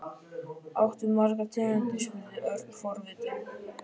Áttu margar tegundir? spurði Örn forvitinn.